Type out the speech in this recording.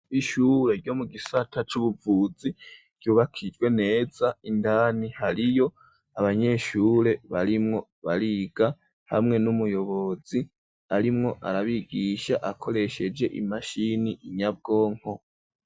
Ishure ryo mu gisata c'ubuvuzi ,ryubakijwe neza, indani hariyo Abanyeshure barimwo bariga, hamwe n'umuyobozi arimwo arabigisha ,akoresheje imashini Nyabwonko.